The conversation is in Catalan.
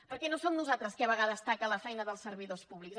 perquè no som nosaltres qui a vegades taca la feina dels servidors públics